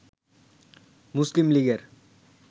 মুসলিম লীগের